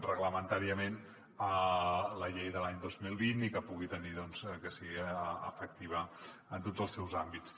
reglamentàriament la llei de l’any dos mil vint i que sigui efectiva en tots els seus àmbits